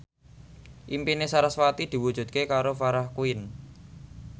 impine sarasvati diwujudke karo Farah Quinn